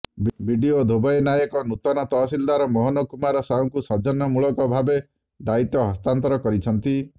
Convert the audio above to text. BDO Dhobei Naik ନୁତନ ତହସିଲଦାର ମୋହନ କୁମାର ସାହୁଙ୍କୁ ସୌଜନ୍ୟ ମୂଳକ ଭାବେ ଦାୟିତ୍ୱ ହସ୍ତାନ୍ତର କରିଛନ୍ତି